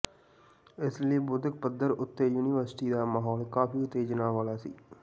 ਇਸ ਲਈ ਬੌਧਿਕ ਪੱਧਰ ਉੱਤੇ ਯੂਨੀਵਰਸਿਟੀ ਦਾ ਮਾਹੌਲ ਕਾਫੀ ਉਤੇਜਨਾ ਵਾਲਾ ਸੀ